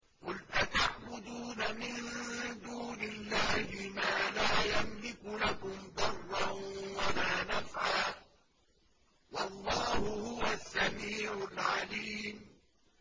قُلْ أَتَعْبُدُونَ مِن دُونِ اللَّهِ مَا لَا يَمْلِكُ لَكُمْ ضَرًّا وَلَا نَفْعًا ۚ وَاللَّهُ هُوَ السَّمِيعُ الْعَلِيمُ